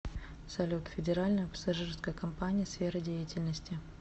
салют федеральная пассажирская компания сфера деятельности